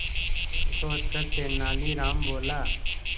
कुछ सोचकर तेनालीराम बोला